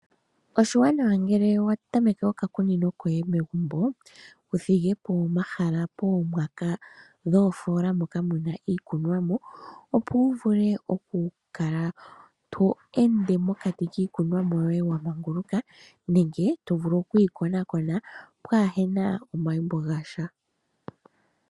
Oshiwanawa ngele wa tameke oka kunino koye megumbo, wuthigepo omahala poomwaka dhoofola moka muna iikunwamo opo wuvule okukala to ende mokati kiikunwamo yoye wa manguluka nenge tovulu okwii konakona pwaa hena omayimbo gasha.